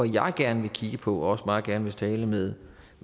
jeg gerne vil kigge på og også meget gerne vil tale med